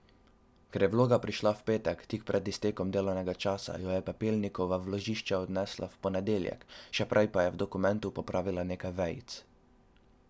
Ker pa je vloga prišla v petek tik pred iztekom delovnega časa, jo je Pepelnikova v vložišče odnesla v ponedeljek, še prej pa je v dokumentu popravila nekaj vejic.